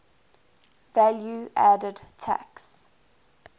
value added tax